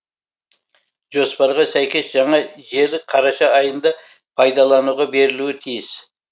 жоспарға сәйкес жаңа желі қараша айында пайдалануға берілуі тиіс